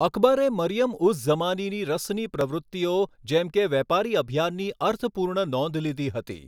અકબરે મરિયમ ઉઝ ઝમાનીની રસની પ્રવૃત્તિઓ જેમ કે વેપારી અભિયાનની અર્થપૂર્ણ નોંધ લીધી હતી.